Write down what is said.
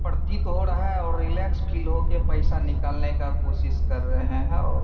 प्रतीत हो रहा और रिलैक्स फील हो के पैसा निकालने का कोशिश कर रहे हैं।